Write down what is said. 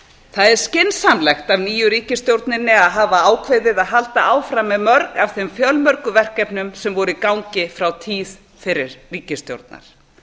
það er skynsamlegt af nýju ríkisstjórninni að hafa ákveðið að halda áfram með mörg af þeim fjölmörgu verkefnum sem voru í gangi frá tíð fyrri ríkisstjórnar